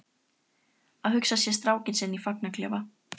Að hugsa sér strákinn sinn í fangaklefa?